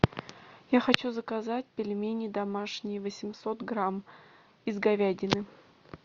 я хочу заказать пельмени домашние восемьсот грамм из говядины